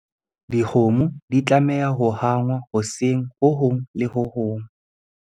Dikgomo di tlameha ho hangwa hoseng ho hong le ho hong.